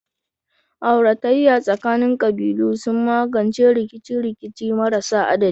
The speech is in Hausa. Auratayya tsakanin kabilu sun magance rikice-rikice marasa adadi.